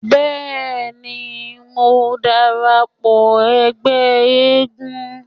Bẹ́ẹ̀ni, mò ń dara pọ̀ ẹgbẹ́ eégún.